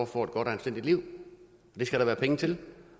får et godt og anstændigt liv det skal der være penge til